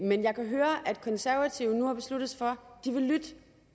men jeg kan høre at de konservative nu har besluttet sig for